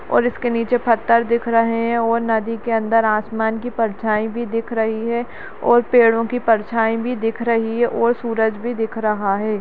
और इसके नीचे पत्थर दिख रहे हैं और नदी के अंदर आसमान की परछाई भी दिख रही है और पेड़ों की परछाई भी दिख रही है और सूरज भी दिख रहा है।